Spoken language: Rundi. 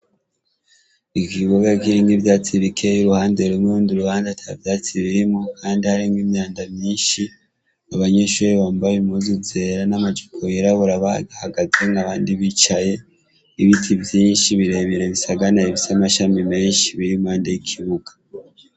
Ikibuga kirimwo ivyatsi bikeya uruhande rumwe urundi ruhande atavyatsi birimwo kandi harimw'imyanda myishi; abanyeshure bambaye impuzu zera n'amajipo yirabura bahagaze n'abandi bicaye. Ibiti vyishi birebire bisaganaye bifise amashami meshi bir'impande y'ikibuga.